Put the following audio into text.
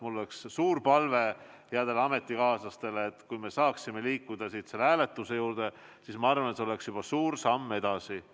Mul on suur palve headele ametikaaslastele, et kui me saaksime edasi liikuda selle hääletuse juurde, siis see oleks juba suur samm edasi.